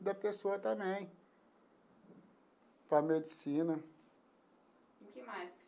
Da pessoa também para a medicina. E o que mais?